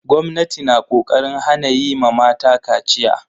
Gwamnati na ƙoƙarin hana yi ma mata kaciya.